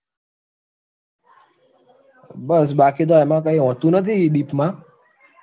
બસ બાકી તો એમાં કાંઈ હોતું નથી deep માં